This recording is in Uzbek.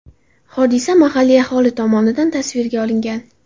Hodisa mahalliy aholi tomonidan tasvirga olingan.